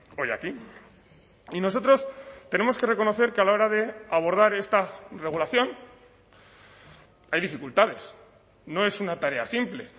hoy aquí y nosotros tenemos que reconocer que a la hora de abordar esta regulación hay dificultades no es una tarea simple